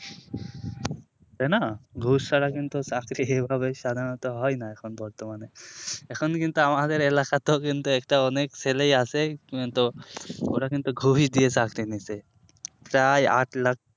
তাইনা ঘুষ ছাড়া কিন্তু চাকরি এইভাবে সাধারণত হয়না এখন বর্তমানে এখন কিন্তু আমাদের এলাকাতেও কিন্তু একটা অনেক ছেলেই আছে কিন্তু ওরা কিন্তু ঘুষ দিয়ে চাকরি নিছে প্রায় আট lakh